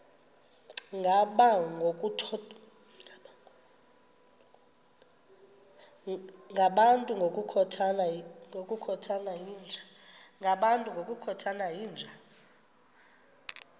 ngabantu ngokukhothana yinja